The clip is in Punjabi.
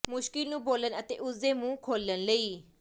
ਮੁਸ਼ਕਿਲ ਨੂੰ ਬੋਲਣ ਅਤੇ ਉਸ ਦੇ ਮੂੰਹ ਖੋਲ੍ਹਣ ਲਈ